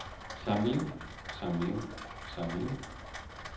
samling samling samling